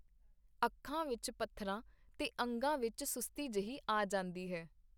ਅੱਖਾਂ ਵਿਚ ਪਥਰਾ ਤੇ ਅੰਗਾਂ ਵਿਚ ਸੁਸਤੀ ਜਹੀ ਆ ਜਾਂਦੀ ਹੈ.